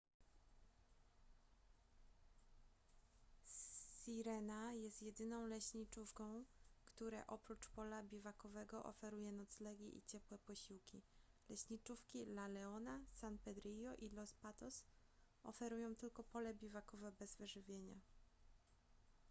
sirena jest jedyną leśniczówką które oprócz pola biwakowego oferuje noclegi i ciepłe posiłki leśniczówki la leona san pedrillo i los patos oferują tylko pole biwakowe bez wyżywienia